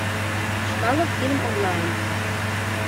чкалов фильм онлайн